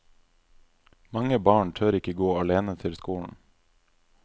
Mange barn tør ikke gå alene til skolen.